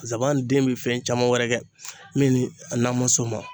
Zaban den bi fɛn caman wɛrɛ kɛ min ni an ma s'o ma.